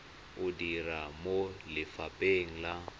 o dira mo lefapheng la